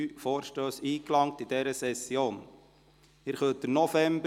Es sind 103 Vorstösse in dieser Session eingegangen.